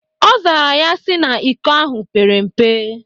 Ọ zara ya sị na iko ahụ pere mpe.